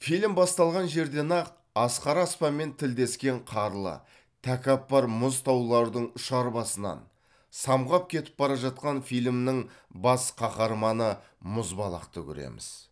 фильм басталған жерден ақ асқары аспанмен тілдескен қарлы тәкаппар мұз таулардың ұшар басынан самғап кетіп бара жатқан фильмнің бас қаһарманы мұзбалақты көреміз